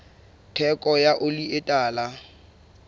theko ya oli e tala